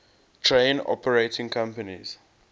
train operating companies